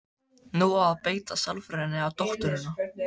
Nú á að beita sálfræðinni á dótturina.